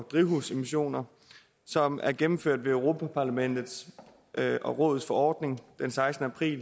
drivhusgasemissioner som er gennemført i europa parlamentets og rådets forordning den sekstende april